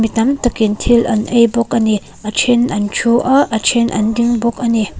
mi tamtak in thil an ei bawk a ni a ṭhen an ṭhu a a then an ding bawk a ni.